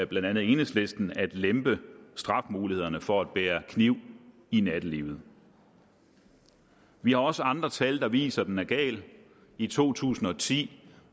blandt andet enhedslisten at lempe straffemulighederne for at bære kniv i nattelivet vi har også andre tal der viser at den er gal i to tusind og ti